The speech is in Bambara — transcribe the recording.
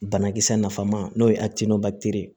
Banakisɛ nafan ma n'o ye ye